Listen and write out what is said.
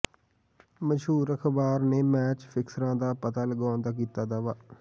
ਮਸ਼ਹੂਰ ਅਖ਼ਬਾਰ ਨੇ ਮੈਚ ਫਿਕਸਰਾਂ ਦਾ ਪਤਾ ਲਗਾਉਣ ਦਾ ਕੀਤਾ ਦਾਅਵਾ